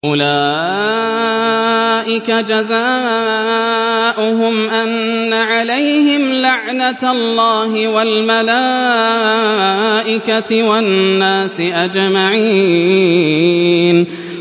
أُولَٰئِكَ جَزَاؤُهُمْ أَنَّ عَلَيْهِمْ لَعْنَةَ اللَّهِ وَالْمَلَائِكَةِ وَالنَّاسِ أَجْمَعِينَ